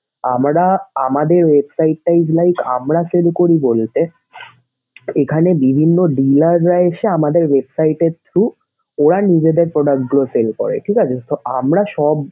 আমরা আমাদের website